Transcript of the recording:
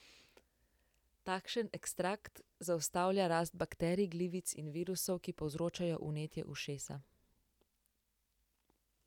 Takšen ekstrakt zaustavlja rast bakterij, glivic in virusov, ki povzročajo vnetje ušesa.